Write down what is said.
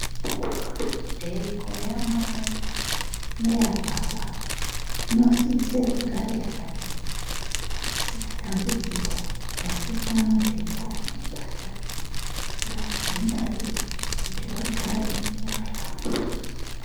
Nhengo yamai neyababa inosise kugare yakachena isina dambudziko pasina matenda anoibata ngavadzingwarire kuti vagare vakahlamburuka .